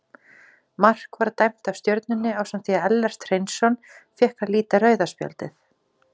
Mark var dæmt af Stjörnunni ásamt því að Ellert Hreinsson fékk að líta rauða spjaldið.